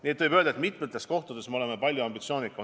Nii et võib öelda, et mitmes valdkonnas me oleme palju ambitsioonikamad.